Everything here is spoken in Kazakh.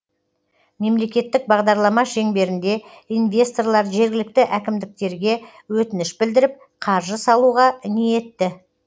мемлекеттік бағдарлама шеңберінде инвесторлар жергілікті әкімдіктерге өтініш білдіріп қаржы салуға ниетті